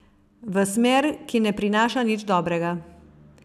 V smer, ki ne prinaša nič dobrega.